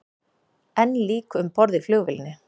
Enn lík um borð í flugvélinni